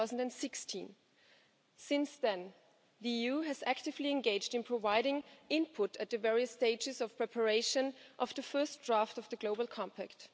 2016. From then on, the EU actively engaged in providing input at the various stages of preparation of the first draft of the compact.